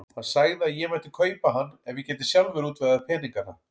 Hann sagði að ég mætti kaupa hann ef ég gæti sjálfur útvegað peningana.